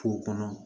K'o kɔnɔ